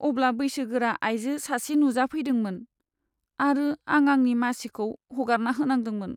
अब्ला बैसोगोरा आयजो सासे नुजाफैदोंमोन, आरो आं आंनि मासिखौ हगारना होनांदोंमोन।